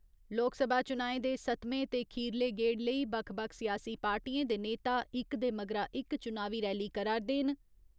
लोकसभा चुनाएं दे सत्तमें ते खीरले गेड़ लेई बक्ख बक्ख सियासी पार्टियें दे नेता इक दे मगरा इक चुनावी रैली करा 'रदे न।